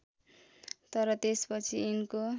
तर त्यसपछि यिनको